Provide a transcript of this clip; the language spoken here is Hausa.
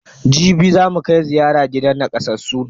Jibi zamu kai ziyara gidan nakasassun.